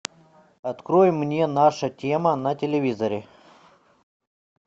открой мне наша тема на телевизоре